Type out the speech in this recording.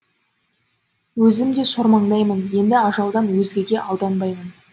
өзім де сормаңдаймын енді ажалдан өзгеге алданбаймын